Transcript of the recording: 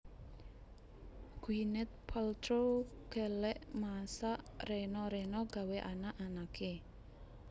Gwyneth Paltrow gelek masak rena rena gawe anak anake